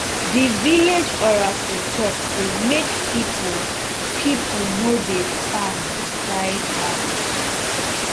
the village oracle talk sey make people people no dey farm beside house